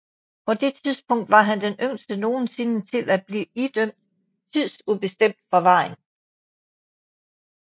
På det tidspunkt var han den yngste nogensinde til at blive idømt tidsubestemt forvaring